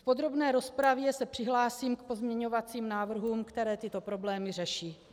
V podrobné rozpravě se přihlásím k pozměňovacím návrhům, které tyto problémy řeší.